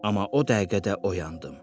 Amma o dəqiqədə oyandım.